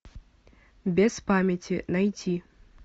без памяти найти